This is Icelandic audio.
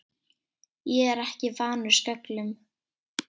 Ég er ekki vanur sköllum.